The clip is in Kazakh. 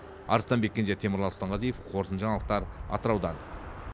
арыстанбек кенже темірлан сұлтанғазиев қорытыныды жаңалықтар атыраудан